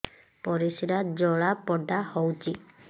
ପରିସ୍ରା ଜଳାପୋଡା ହଉଛି